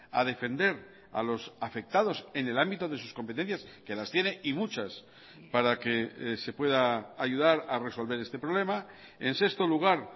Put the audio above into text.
a defender a los afectados en el ámbito de sus competencias que las tiene y muchas para que se pueda ayudar a resolver este problema en sexto lugar